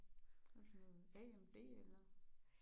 Hvad for en? AMD eller?